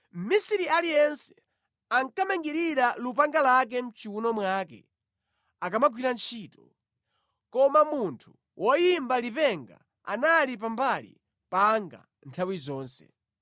Mʼmisiri aliyense ankamangirira lupanga lake mʼchiwuno mwake akamagwira ntchito. Koma munthu woyimba lipenga anali pambali panga nthawi zonse.